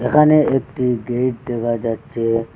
এখানে একটি গেট দেখা যাচ্চে।